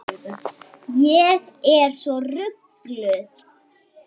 Ég er svo rugluð.